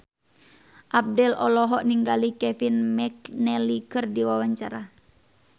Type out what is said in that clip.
Abdel olohok ningali Kevin McNally keur diwawancara